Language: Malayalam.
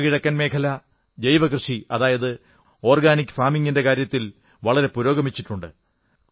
വടക്കുകിഴക്കൻ മേഖല ജൈവകൃഷി അതായത് ഓർഗാനിക് ഫാമിംഗിന്റെ കാര്യത്തിൽ വളരെ പുരോഗമിച്ചിട്ടുണ്ട്